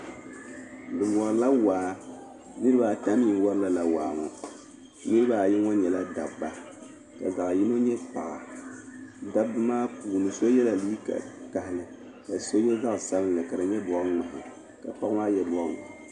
Bɛ wari la waa, niribi a ta mi n wari lala waaŋɔ. niribi ayi ŋɔ nyɛla daba. ka zaɣi yinɔ nyɛ paɣa, dabi maa puuni so yela liiga vakahili, ka so ye zaɣi sabinli ka di nyɛ bɔɣi mŋahi ka paɣa maa ye liiga bɔɣi waɣila.